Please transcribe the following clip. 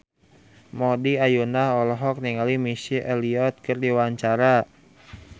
Maudy Ayunda olohok ningali Missy Elliott keur diwawancara